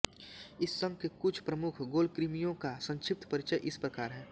इस संघ के कुछ प्रमुख गोलकृमियों का संक्षिप्त परिचय इस प्रकार है